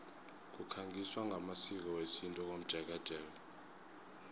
kukhangiswa ngamasiko wesintu komjekejeke